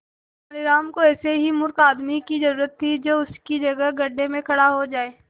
तेनालीराम को ऐसे ही मूर्ख आदमी की जरूरत थी जो उसकी जगह गड्ढे में खड़ा हो जाए